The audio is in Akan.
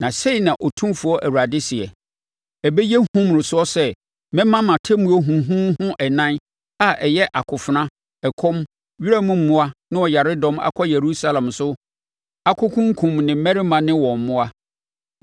“Na sei na Otumfoɔ Awurade seɛ: Ɛbɛyɛ hu mmorosoɔ sɛ mɛma mʼatemmuo huuhuuhu ɛnan, a ɛyɛ akofena, ɔkɔm, wiram mmoa ne ɔyaredɔm akɔ Yerusalem so akɔkunkum ne mmarima ne wɔn mmoa!